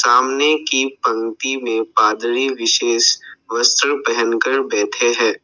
सामने की पंक्ति में पादरी विशेष वस्त्र पहन कर बैठे हैं।